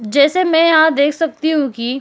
जैसे मैं यहां देख सकती हूं कि --